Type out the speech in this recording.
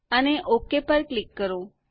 અને ઓક પર ક્લિક કરો